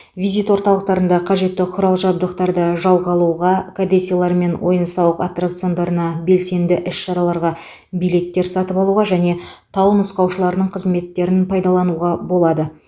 визит орталықтарында қажетті құрал жабдықтарды жалға алуға кәдесыйлар мен ойын сауық аттракциондарына белсенді іс шараларға билеттер сатып алуға және тау нұсқаушыларының қызметтерін пайдалануға болады